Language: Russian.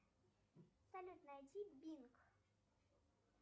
салют найди бинг